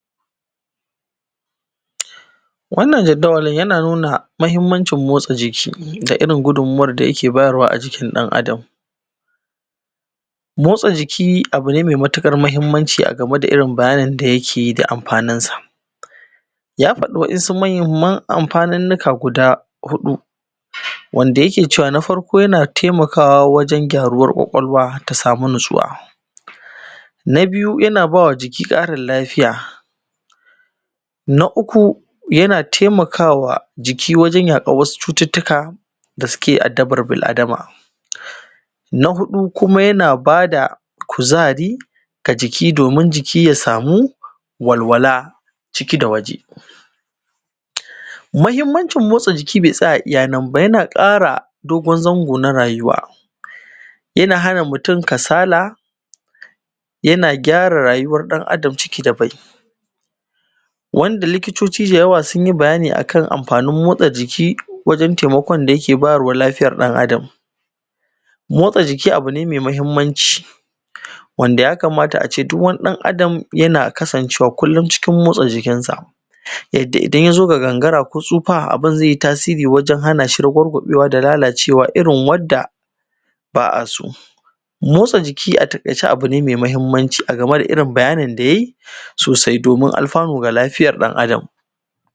Wannan jaddawalin yana nunaa muhimmancin motsa jiki da irin gudummawar da yake bayar wa a jikin ɗan-adam. Motsa jiki abu ne mai matuƙar muhimmanci a game da bayanin da yake da amfaninsa.. Ya faɗi wasu muhimman amfaninnika guda huɗu, wanda yake cewa, na farko yana taimakawa wajen gyaruwar ƙwaƙwalwa har ta samu natsuwa. Na biyu, yana ba wa jiki ƙarin lafiya. Na uku, yana taimakawa jiki wajen yaƙar wasu cututtuka da suke addabar bil-adama. Na huɗu kuma yana ba da kuzari a jiki, domin jiki ya samu walwala ciki da waje. Muhimmancin motsa jiki bai tsaya iya nan ba yana ƙara dogon zango na rayuwa, yana hana mutum kasala, yana gyara rayuwar ɗan-adam ciki da bai. Wanda likitoci dayawa sun yii bayani a kan amfanin motsa jiki wajen taimakon da yake bayar wa lafiyar ɗan-adam. Motsa jiki abu ne mai muhimmanci, wanda ya kamata a ce duk wani ɗan-adam yana kasanʧewa kullum cikin motsa jikin sa.. Yadda idan ya zo ga gangara ko tsufa abin zai yi tasirii wajen hana shi ragwargwaɓewa ko lalacewa irin wadda ba a soo. Motsa jiki a taƙaice abu ne mai muhimmanci a game da irin bayanin da yayi sosai domin alfaanu ga lafiyar ɗan-adam